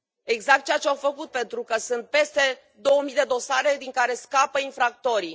Exact ceea ce au făcut, pentru că sunt peste două mii de dosare din care scapă infractorii.